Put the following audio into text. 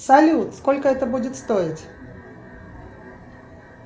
салют сколько это будет стоить